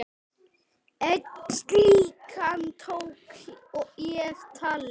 Einn slíkan tók ég tali.